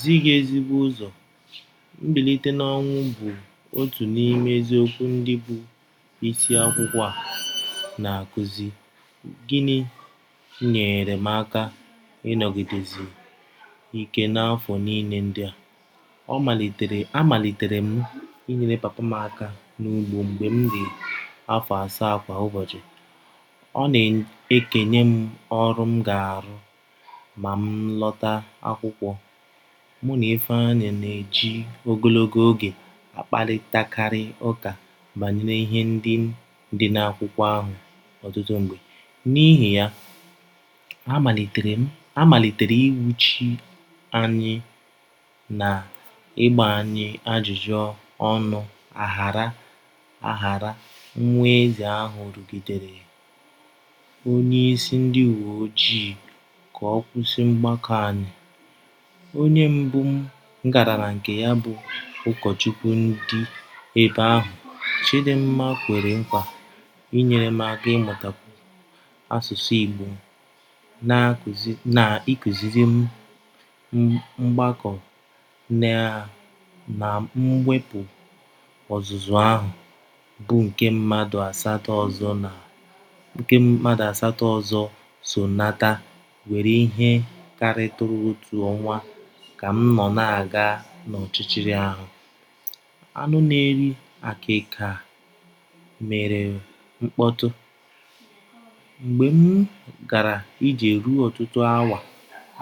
zi gị ezigbo ụzọ. Mbilite n’ọnwụ bụ otu n’ime eziokwu ndị bụ́ isi akwụkwọ a na - akụzi Gịnị nyeere m aka ịnọgidesi ike n’afọ niile ndị a? A malitere m inyere papa m aka n’ugbo mgbe m dị afọ asaa Kwa ụbọchị, ọ na - ekenye m ọrụ m ga - arụ ma m lọta akwụkwọ Mụ na Ifeanyi na - eji ogologo oge akparịtakarị ụka banyere ihe ndị dị na akwụkwọ ahụ ọtụtụ mgbe. N’ihi ya, a malitere inwuchi anyị na ịgba anyị ajụjụ ọnụ aghara aghara Nwa Eze ahụ rụgidere onyeisi ndị uwe ojii ka ọ kwụsị mgbakọ anyị. Onye mbụ m gara na nke ya bụ ụkọchukwu ndị ebe ahụ Chidimma kwere nkwa inyere m aka ịmụtakwu asụsụ Igbo na ịkụziri m mgbakọ na mwepụ Ọzụzụ ahụ, bụ́ nke mmadụ asatọ ọzọ so nata were ihe karịtụrụ otu ọnwa Ka m nọ na - aga n’ọchịchịrị ahụ, anụ na - eri àkị́kà mere mkpọtụ. Mgbe m gara ije ruo ọtụtụ awa,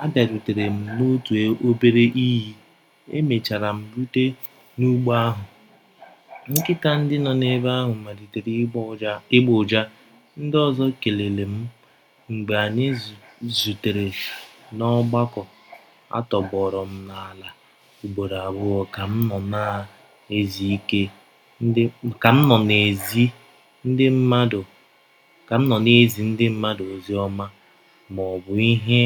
abịarutere m n’otu obere iyi. E mechara m rute n’ugbo ahụ, nkịta ndị nọ ebe ahụ malitere ịgbọ ụja Ndị ọzọ kelere m mgbe anyị zutere ná ọgbakọ Atọgbọrọ m n'ala ugboro abụọ ka m nọ na - ezi ndị mmadụ ozi ọma Ọ bụ ihe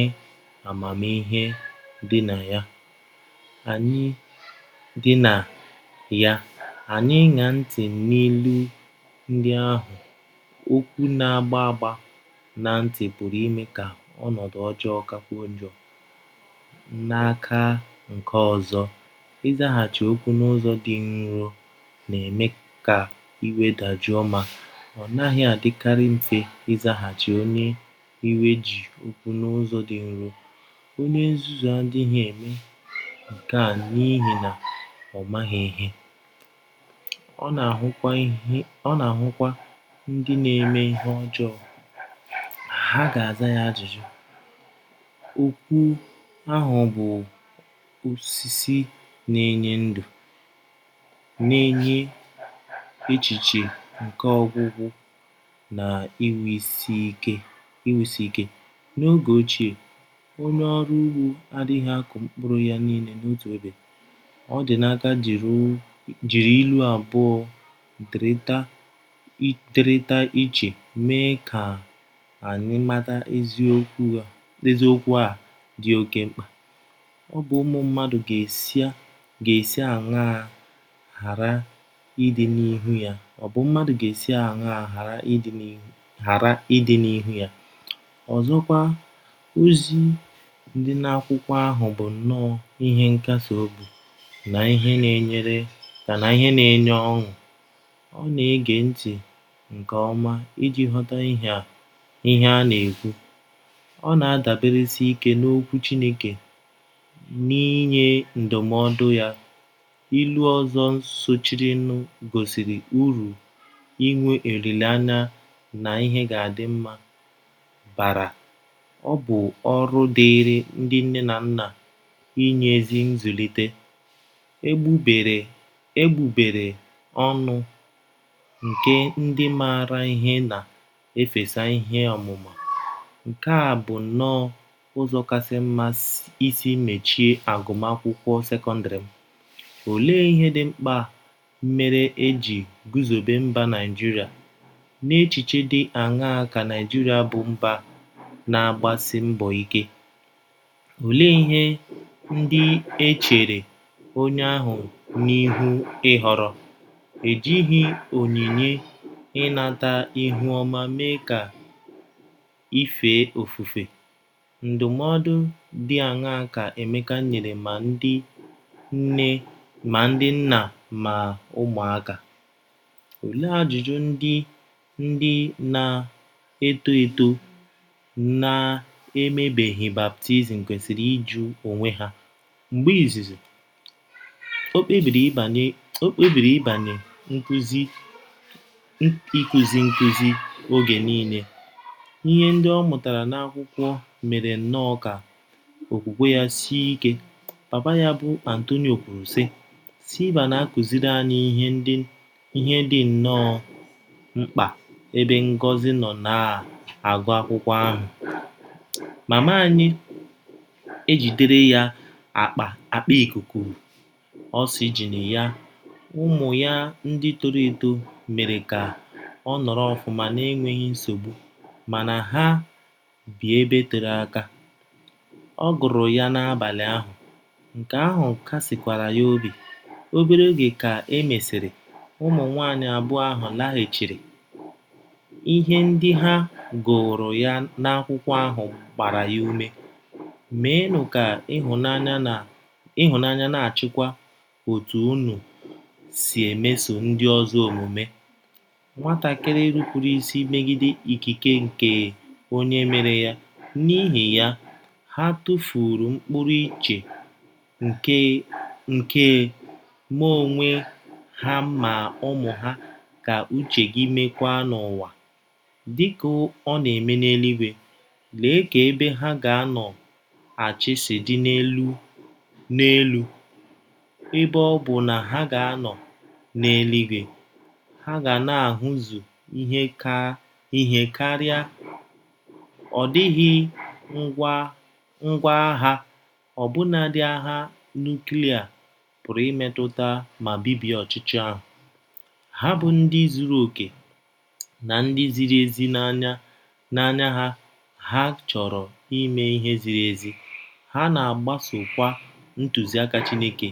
amamihe dị na ya anyị ‘ ịṅa ntị ’ n’ilu ndị ahụ Okwu na - agba agba ná ntị pụrụ ime ka ọnọdụ ọjọọ kakwuo njọ N’aka nke ọzọ, ịzaghachi okwu n’ụzọ dị nro na - eme ka iwe dajụọ Ma, ọ naghị adịkarị mfe ịzaghachi onye iwe ji okwu n’ụzọ dị nro Onye nzuzu adịghị eme nke a n’ihi na ọ maghị ihe. Ọ na - ahụkwa ndị na - eme ihe ọjọọ, ha ga - aza ya ajụjụ. Okwu ahụ bụ́ “ osisi na - enye ndụ ” na - enye echiche nke ọgwụgwọ na iwusi ike. N’oge ochie, onye ọrụ ugbo adịghị akụ mkpụrụ ya niile n’otu ebe. Ọdịnaka jiri ilu abụọ dịrịta iche mee ka anyị mata eziokwu a dị oké mkpa. Obi ụmụ mmadụ ga - esi aṅaa ghara ịdị n’ihu Ya? Ọzọkwa, ozi dị n'akwụkwọ ahụ bụ nnọọ ihe nkasi obi na ihe na - enye ọṅụ Ọ na - ege ntị nke ọma iji ghọta ihe a na - ekwu. Ọ na - adaberesi ike n’Okwu Chineke n'nye ndụmọdụ ya Ilu ọzọ sochirinụ gosiri uru inwe olileanya na ihe ga - adị mma bara Ọ bụ ọrụ dịịrị ndị nne na nna inye ezi nzụlite “ Egbugbere ọnụ nke ndị maara ihe na - efesa ihe ọmụma “ Nke a bụ nnọọ ụzọ kasị mma isi mechie agụmakwụkwọ sekọndrị m. Olee ihe dị mkpa mere e ji guzobe mba Nigeria? N’echiche dị aṅaa ka Nigeria bụ mba na-agbasi mbọ ike? Olee ihe ndị e chere onye ahụ n’ihu ịhọrọ? Ejighị m onyinye ịnata ihu ọma mee ka i fee ofufe. Ndụmọdụ dị aṅaa ka Emeka nyere ma ndị nna ma ụmụaka? Olee ajụjụ ndị ndị na - eto eto na - emebeghị baptizim kwesịrị ịjụ onwe ha? Mgbe izizi, o kpebiri ịbanye n’ikuzi nkuzi oge niile. Ihe ndị ọ mụtara n’Akwụkwọ mere nnọọ ka okwukwe ya sie ike Papa ya bụ́ Antonio kwuru, sị: “ Silvia na - akụziri anyị ihe dị nnọọ mkpa Ebe Ngozi nọ na - agụ akwụkwọ ahụ, mama ya ejidere ya akpa ikuku “ oxygen ” ya Ụmụ ya ndị toro eto mere ka ọ nọrọ ọfụma na-enweghi nsogbu mana ha bi ebe tere aka. Ọ gụrụ ya n'abalị ahụ, nke ahụ kasikwara ya obi. Obere oge ka e mesịrị, ụmụ nwaanyị abụọ ahụ laghachiri. Ihe ndị ha gụụrụ ya n'akwụkwọ ahụ gbara ya ume. “ Meenụ ka ịhụnanya na - achịkwa otú unu si emeso ndị ọzọ omume. ” Nwatakịrị nupuru isi megide ikike nke Onye mere ya. N’ihi ya, ha tụfuuru mkpụrụ iche nke ma onwe ha ma ụmụ ha Ka uche gị meekwa n’ụwa, dị ka ọ na - eme n’eluigwe. ’” Lee ka ebe ha ga - anọ achị si dị elu Ebe ọ bụ na ha ga - anọ n’eluigwe, ha ga na - ahụzu ihe karị Ọ dịghị ngwá agha, ọbụnadị agha nuklia, pụrụ imetụta ma bibie ọchịchị ahụ. Ha bụ ndị zuru okè na ndị ziri ezi n’anya ha Ha chọrọ ime ihe ziri ezi, ha na - agbasokwa ntụziaka Chineke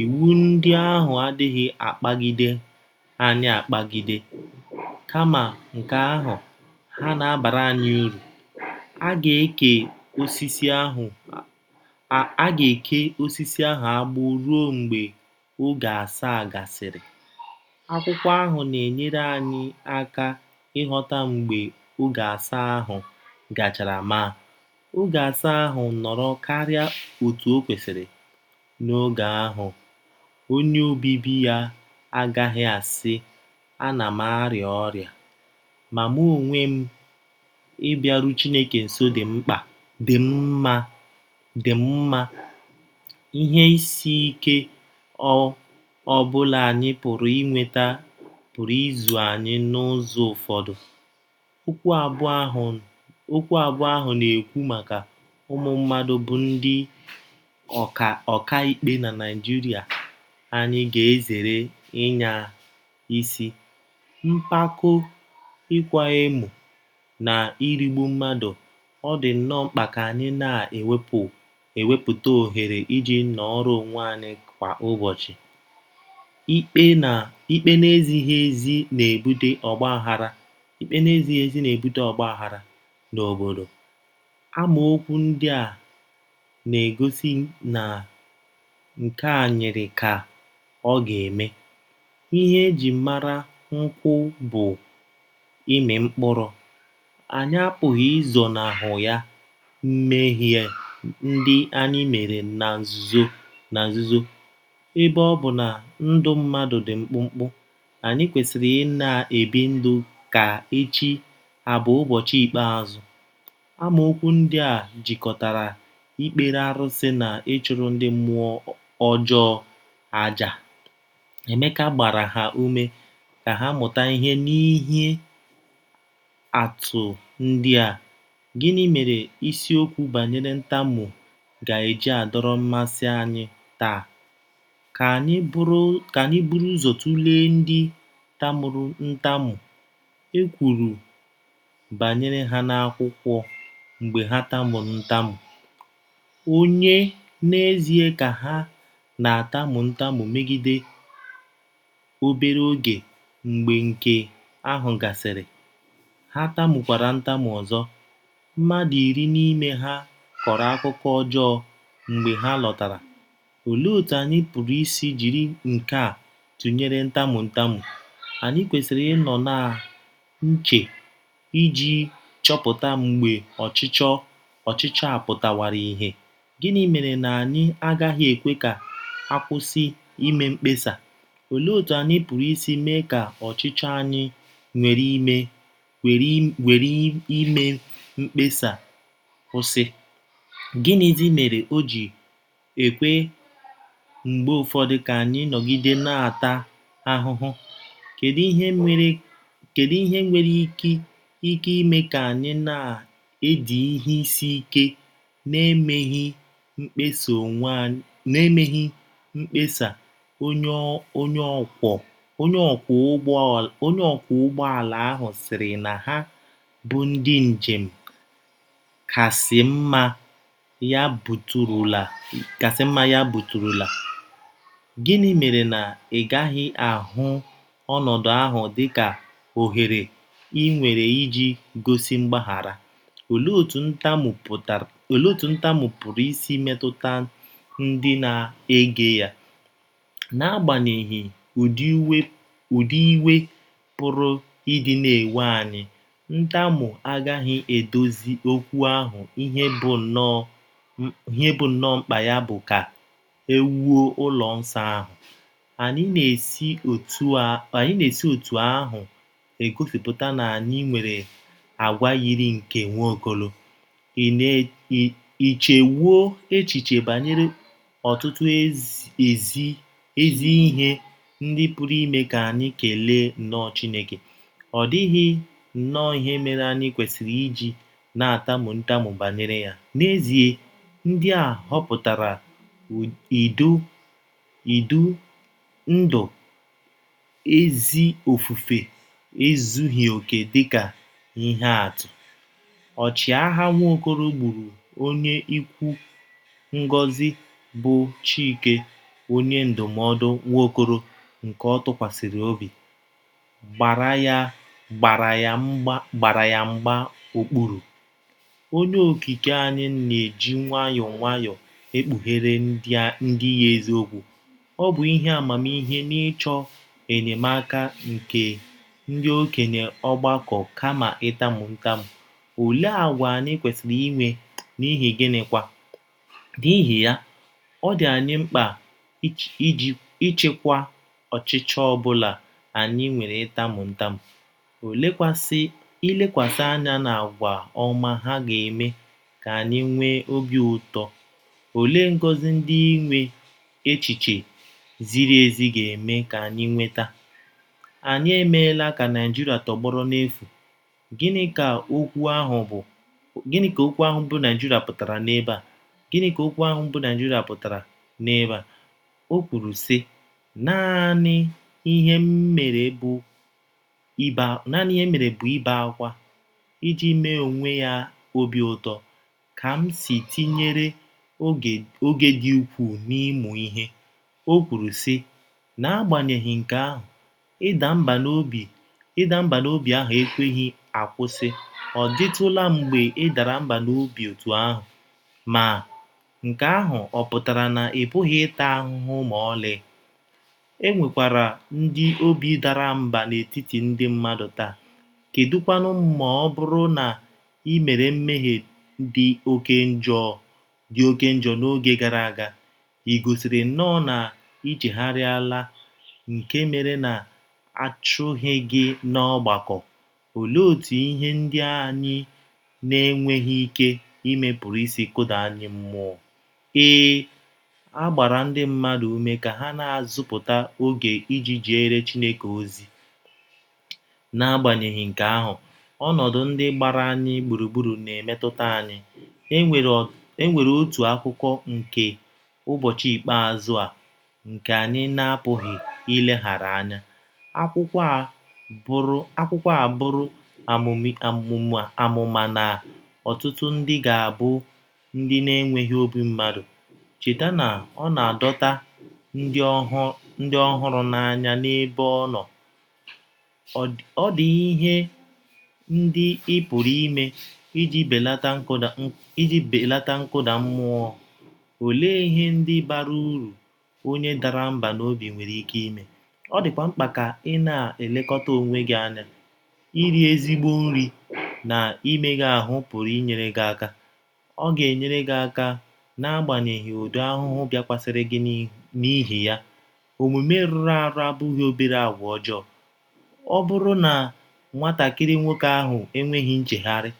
Iwu ndị ahụ adịghị akpagide anyị akpagide, kama nke ahụ, ha na - abara anyị uru. A ga - eke osisi ahụ agbụ ruo mgbe “ oge asaa ” gasịrị. Akwụkwọ ahụ na-enyere anyị aka ịghọta mgbe “ oge asaa ” ahụ gachara Ma, oge asaa ahụ nọrọ karịa otú o kwesịrị. N’oge ahụ, “ onye obibi ya agaghị asị, A na m arịa ọrịa. ”“ Ma mụ onwe m, ịbịaru Chineke nso dị m mma. Ihe isi ike ọ ọbụla anyị pụrụ inweta pụrụ ịzụ anyị n’ụzọ ụfọdụ. Okwu abụọ ahụ na - ekwu maka ụmụ mmadụ bụ́ ndị ọkà ikpe na Naijiria Anyị ga-ezere ịnya isi, mpako, ịkwa emo, na irigbu mmadụ Ọ dị nnọọ mkpa ka anyị na - ewepụta ohere iji nọọrọ onwe anyị kwa ụbọchị! Ikpe na - ezighị ezi na - ebute ọgbaghara Ikpe na - ezighị ezi na - ebute ọgbaghara n’obodo. Amaokwu ndị a na - egosi na nke a yiri ka ọ̀ ga - eme. Ihe e ji mara nkwụ bụ ịmị mkpụrụ. Anyị apụghị izonahụ ya mmehie ndị anyị mere na nzuzo. Ebe ọ bụ na ndụ mmadụ dị mkpụmkpụ, anyị kwesịrị ‘ ị na-ebi ndụ ka echi abụ ụbọchị ikpeazụ. ’ Amaokwu ndị a jikọtara ikpere arụsị na ịchụrụ ndị mmụọ ọjọọ àjà Emeka gbara ha ume ka ha mụta ihe n’ihe atụ ndị a Gịnị mere isiokwu banyere ntamu ga - eji adọrọ mmasị anyị taa? Ka anyị buru ụzọ tụlee ndị tamuru ntamu e kwuru banyere ha n’Akwụkwọ Mgbe ha tamuru ntamu, onye n’ezie ka ha na - atamu ntamu megide Obere oge mgbe nke ahụ gasịrị, ha tamukwara ntamu ọzọ. Mmadụ iri n’ime ha kọrọ akụkọ ọjọọ mgbe ha lọtara. Olee otú anyị pụrụ isi jiri nke a tụnyere ịtamu ntamu? Anyị kwesịrị ịnọ na nche iji chọpụta mgbe ọchịchọ a pụtawara ìhè Gịnị mere na anyị agaghị ekwe ka a kwụsị ime mkpesa? Olee otú anyị pụrụ isi mee ka ọchịchọ anyị nwere ime mkpesa kwụsị Gịnịzi mere o ji ekwe mgbe ụfọdụ ka anyị nọgide na - ata ahụhụ? Kedu ihe nwere ike ime ka anyị na-edi ihe isi ike n’emeghị mkpesa Onye ọkwọ ụgbọala ahụ sịrị na ha bụ ndị njem kasị mma ya buturula! Gịnị mere na ị gaghị ahụ ọnọdụ ahụ dị ka ohere i nwere iji gosi mgbaghara? Olee otú ntamu pụrụ isi metụta ndị na - ege ya? N’agbanyeghị udi iwe pụrụ ịdị na - ewe anyị, ntamu agaghị edozi okwu ahụ Ihe bụ́ nnọọ mkpa ya bụ ka e wuo ụlọ nsọ ahụ. Anyị na - esi otú ahụ egosipụta na anyị nwere àgwà yiri nke Nwaokolo. Ì chewo echiche banyere ọtụtụ ezi ihe ndị pụrụ ime ka anyị kelee nnọọ Chineke? Ọ dịghị nnọọ ihe mere anyị kwesịrị iji na - atamu ntamu banyere ya. N’ezie, ndị a họpụtara idu ndú n’ezi ofufe ezughị okè Dị ka ihe atụ, ọchịagha Nwaokolo gburu onye ikwu Ngọzị bụ́ Chike Onye ndụmọdụ Nwaokolo nke ọ tụkwasịrị obi, gbara ya mgba okpuru. Onye Okike anyị na - eji nwayọọ nwayọọ ekpughere ndị ya eziokwu. Ọ bụ ihe amamihe n'ịchọ enyemaka nke ndị okenye ọgbakọ Kama ịtamu ntamu, olee àgwà anyị kwesịrị inwe, n’ihi gịnịkwa? N’ihi ya, ọ dị anyị mkpa ịchịkwa ọchịchọ ọbụla anyị nwere ịtamu ntamu. Ilekwasị anya n’àgwà ọma ha ga - eme ka anyị nwee obi ụtọ Olee ngọzi ndị inwe echiche ziri ezi ga - eme ka anyị nweta? Anyị emeela ka Nigeria tọgbọrọ n’efu,. ”Gịnị ka okwu ahụ bụ́ “ Nigeria ” pụtara n’ebe a? Gịnị ka okwu ahụ bụ́ “ Nigeria ” pụtara n’ebe a? O kwuru, sị: “ Naanị ihe m mere bụ ibe ákwá. Iji mee onwe ya obi ụtọ, Kamsi tinyere oge dị ukwuu n’ịmụ ihe. O kwuru, sị: “ N’agbanyeghị nke ahụ, ịda mbà n’obi ahụ ekweghị akwụsị Ọ̀ dịtụla mgbe ị dara mbà n’obi otú ahụ? Ma, nke ahụ ọ̀ pụtara na ị pụghị ịta ahụhụ ma ọlị? E nwekwara ndị obi dara mbà n’etiti Ndị mmadu taa. Kedụ kwanụ ma ọ bụrụ na i mere mmehie dị oké njọ n’oge gara aga. I gosiri nnọọ na i chegharịala nke mere na a chụghị gị n’ọgbakọ. Olee otú ihe ndị anyị na - enweghị ike ime pụrụ isi kụda anyị mmụọ? Ee, a gbara Ndị mmadu ume ka ha na - azụpụta oge iji jeere Chineke ozi N’agbanyeghị nke ahụ, ọnọdụ ndị gbara anyị gburugburu na - emetụta anyị. E nwere otu akụkụ nke ụbọchị ikpeazụ a nke anyị na - apụghị ileghara anya. Akwụkwọ a buru amụma na ọtụtụ ndị ga - abụ ndị “ na - enweghị obi mmadụ. ” Cheta na ọ na - adọta ndị ọ hụrụ n’anya n’ebe ọ nọ. Ọ dị ihe ndị ị pụrụ ime iji belata nkụda mmụọ Olee ihe ndị bara uru onye dara mbà n’obi nwere ike ime? Ọ dịkwa mkpa ka ị na - elekọta onwe gị anya. Iri ezigbo nri na imega ahụ́ pụrụ inyere gị aka. Ọ ga - enyere gị aka n’agbanyeghị udi ahụhụ bịakwasịrị gị N’ihi ya, “ omume rụrụ arụ ” abụghị obere àgwà ọjọọ. Ọ bụrụ na nwatakịrị nwoke ahụ enweghị nchegharị,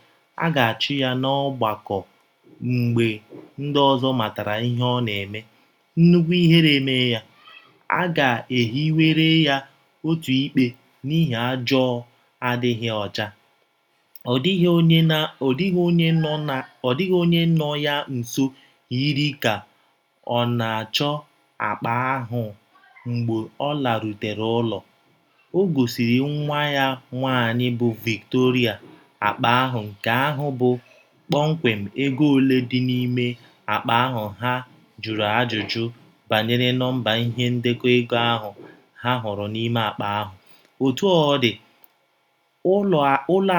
a ga - achụ ya n’ọgbakọ Mgbe ndị ọzọ matara ihe ọ na - eme, nnukwu ihere emee ya. A ga - ehiwere ya òtù ikpe n’ihi ajọ adịghị ọcha. Ọ dịghị onye nọ ya nso yiri ka ọ̀ na - achọ akpa ahụ Mgbe o larutere ụlọ, o gosiri nwa ya nwaanyị, bụ Victoria, akpa ahụ Nke ahụ bụ kpọmkwem ego ole dị n’ime akpa ahụ Ha jụrụ ajụjụ banyere nọmba ihe ndekọ ego ahụ ha hụrụ n’ime akpa ahụ. Otú ọ dị, ụlọ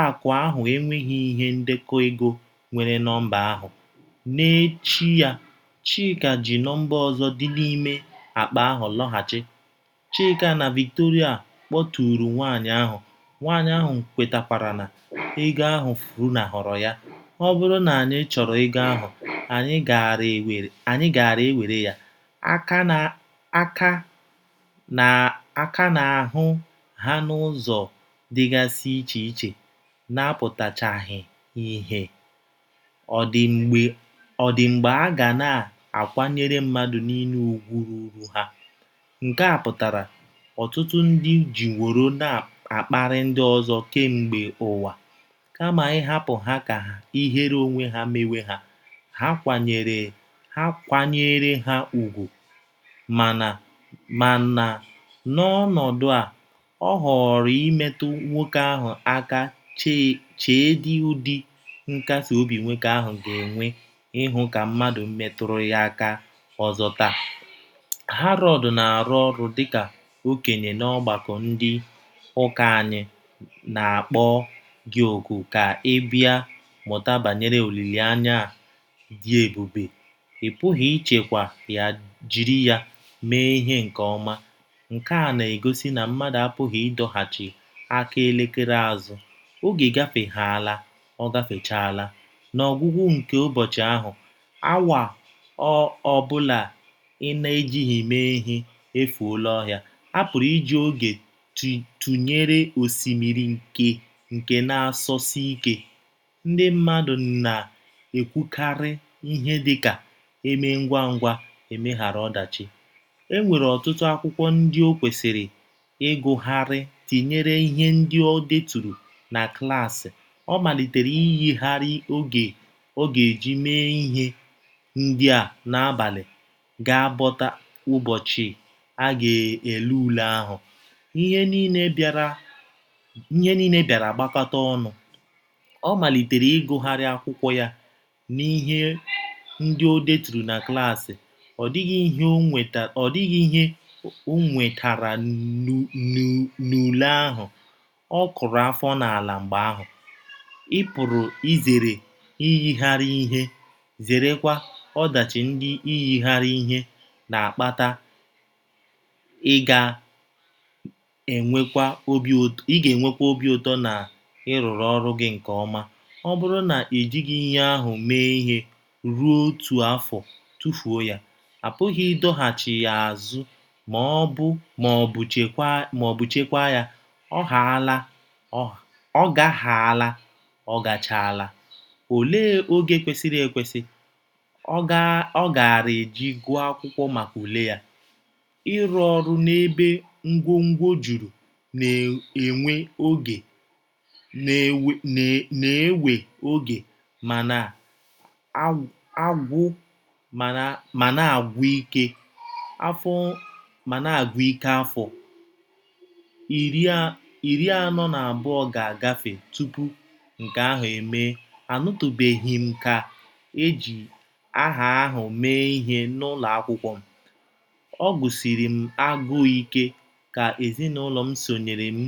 akụ̀ ahụ enweghi ihe ndekọ ego nwere nọmba ahụ. N’echi ya, Chika ji nọmba ọzọ dị n’ime akpa ahụ lọghachi. Chika na Victoria kpọtụụrụ nwaanyị ahụ, nwaanyị ahụ kwetakwara na ego ahụ funahụrụ ya. Ọ bụrụ na anyị chọrọ ego ahụ, anyị gaara ewere ya. A ka na - ahụ ha n’ụzọ dịgasị iche iche na - apụtachaghị ìhè. Ọ̀ dị mgbe a ga na - akwanyere mmadụ niile ùgwù ruuru ha? Nke a kpatara ọtụtụ ndị jiworo na - akparị ndị ọzọ kemgbe ụwa. Kama ịhapụ ha ka ihere onwe ha mewe ha, he kwanyeere ha ùgwù. Mana n'ọnọdụ a, ọ họọrọ imetụ nwoke ahụ aka Cheedị udi nkasi obi nwoke ahụ ga - enwe ịhụ ka mmadụ metụrụ ya aka ọzọ Taa, Harold na - arụ ọrụ dịka okenye n’ọgbakọ ndị ụka Anyị na - akpọ gị oku ka ị bịa mụta banyere olileanya a dị ebube Ị Pụghị Ichekwa Ya Jiri Ya Mee Ihe nke Ọma Nke a na - egosi na mmadụ apụghị ịdọghachi aka elekere azụ, oge gafehaala, ọ gafechaala. N’ọgwụgwụ nke ụbọchị ahụ, awa ọ ọbụla ị na - ejighị mee ihe efuola ọhịa A pụrụ iji oge tụnyere osimiri nke na - asọsi ike. Ndị mmadụ na - ekwukarị ihe dị ka, E mee ngwa ngwa e meghara ọdachi E nwere ọtụtụ akwụkwọ ndị o kwesịrị ịgụgharị tinyere ihe ndị o deturu na klas Ọ malitere iyigharị oge ọ ga - eji mee ihe ndị a N’abalị ga - abọta ụbọchị a ga - ele ule ahụ, ihe niile bịara gbakọta ọnụ. Ọ malitere ịgụgharị akwụkwọ ya na ihe ndị o deturu na klas Ọ dịghị ihe o nwetara n’ule ahụ, ọ kụrụ afọ n’ala Mgbe ahụ, ị pụrụ izere iyigharị ihe, zerekwa ọdachi ndị iyigharị ihe na - akpata Ị ga - enwekwa obi ụtọ na ị rụrụ ọrụ gị nke ọma Ọ bụrụ na i jighị ihe ahụ mee ihe ruo otu afọ, tụfuo ya. A pụghị ịdọghachi ya azụ ma ọ bụ chekwaa ya, ọ gahaala, ọ gachaala Olee “ oge kwesịrị ekwesị ” ọ gaara eji gụọ akwụkwọ maka ule ya? Ịrụ ọrụ n’ebe ngwongwo juru na - ewe oge ma na - agwụ ike Afọ iri anọ na abụọ ga - agafe tupu nke ahụ emee Anụtụbeghị m ka e ji aha ahụ mee ihe n'ụlọ akwụkwọ m Ọ gụsiri m agụụ ike ka ezinụlọ m sonyere m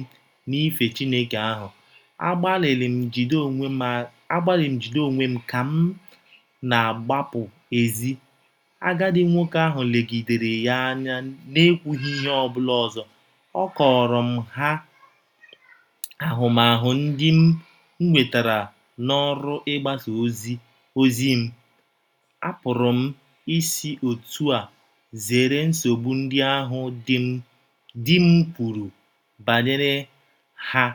n’ife ezi Chineke ahụ. Agbalịrị m jide onwe m ka m na - agbapụ èzí. Agadi nwoke ahụ legidere ya anya n'ekwughi ihe ọ ọbụla ọzọ. A kọọrọ m ha ahụmahụ ndị m nwetara n’ọrụ ịgbasa ozi mApụrụ m isi otú a zere nsogbu ndị ahụ di m kwuru banyere ha